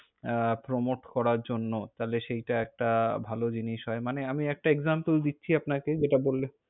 আহ promote করার জন্য, তাহলে সেটা একটা ভালো জিনিস হয়। মানে আমি একটা example দিচ্ছি আপনাকে, যেটা বললে।